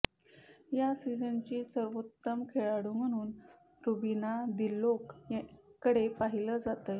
या सिजनची सर्वोत्तम खेळाडू म्हणून रुबीना दिलैक कडे पाहीलं जातंय